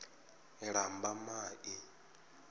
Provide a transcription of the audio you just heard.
lambamai